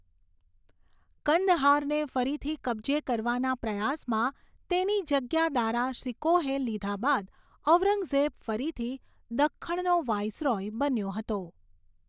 કંદહારને ફરીથી કબજે કરવાના પ્રયાસમાં તેની જગ્યા દારા શિકોહે લીધા બાદ ઔરંગઝેબ ફરીથી દખ્ખણનો વાઇસરોય બન્યો હતો.